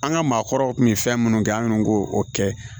An ka maakɔrɔw kun mi fɛn minnu kɛ an k'o kɛ